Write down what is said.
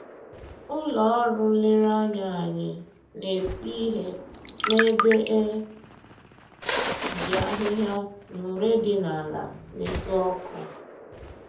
Ụlọ ọrụ nlereanya anyị na-esi ihe n'ebe e ji ahịhịa na ure dị n'ala metụ ọkụ